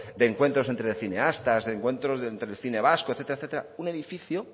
de encuentros entre cineastas de encuentros entre el cine vasco etcétera etcétera un edificio